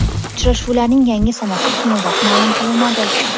Uchrashuvlarning yangi sanasi keyinroq ma’lum qilinadi.